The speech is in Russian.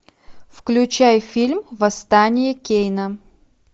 включай фильм восстание кейна